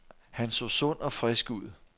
Han så sund og frisk ud.